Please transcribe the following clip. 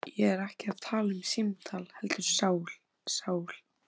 Ég er ekki að tala um símtal heldur sál. sál